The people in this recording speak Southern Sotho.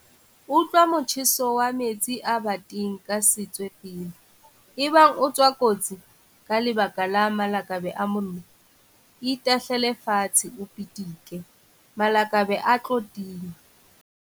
Utlwa motjheso wa metsi a bateng ka setswe pele. Ebang o tswa kotsi ka lebaka la malakabe a mollo, itahlele fatshe o pitike, malakabe a tlo tima.